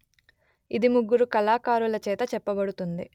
ఇది ముగ్గురు కళాకారులచేత చెప్పబడుతుంది